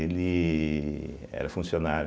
Ele era funcionário.